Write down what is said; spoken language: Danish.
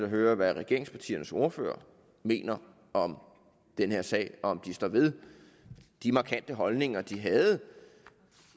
høre er hvad regeringspartiernes ordførere mener om den her sag og om de står ved de markante holdninger de havde